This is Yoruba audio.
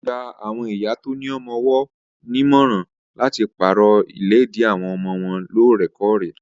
Wọ́n gba awọn ìyá tó ní ọmọ-ọwọ́ nímọ̀ràn láti pàrọ̀ ìléèdí àwọn ọmọ wọ́n loorekore